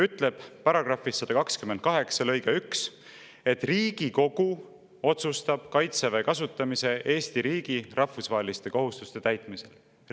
Ütleb nii, § 128 lõige 1: "Riigikogu otsustab kaitseväe kasutamise Eesti riigi rahvusvaheliste kohustuste täitmisel.